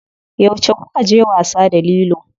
Yauce kukaje wasa da lilo?